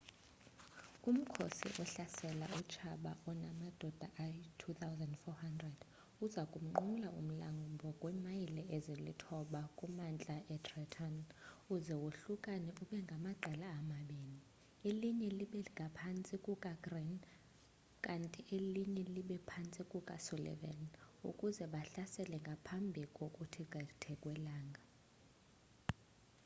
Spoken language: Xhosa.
umkhosi ohlasela utshaba onamadoda ayi-2 400 aza kunqumla kumlambo kwiimayile ezilithoba kumantla etrenton uze wohlukane ube ngamaqela amabini elinye libe phantsi kukagreene kanti elinye libe ngaphantsi kukasullivan ukuze bahlasele ngaphambi kokuthi qheke kwelanga